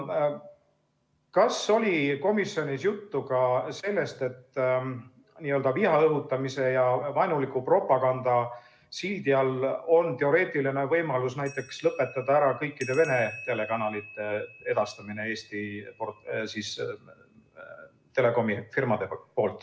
Kas komisjonis oli juttu ka sellest, et n-ö viha õhutamise ja vaenuliku propaganda sildi all on teoreetiliselt võimalik lõpetada ära kõikide Vene telekanalite edastamine Eesti Telekomi firmade poolt?